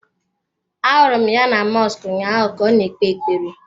Ahụrụ m ya na mọsk ụnyaahụ ka ọ na-ekpe ekpere.